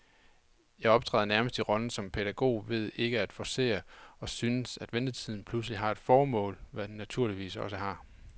Jeg optræder nærmest i rollen som pædagog ved ikke at forcere, og synes, at ventetiden pludselig har et formål, hvad den naturligvis også har.